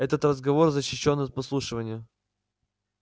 этот разговор защищён от подслушивания